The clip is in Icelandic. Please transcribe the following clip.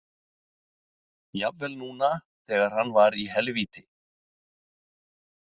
Jafnvel núna þegar hann var í helvíti.